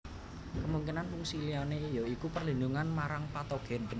Kemungkinan fungsi liyane ya iku perlindungan marang patogen